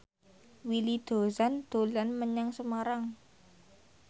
Willy Dozan dolan menyang Semarang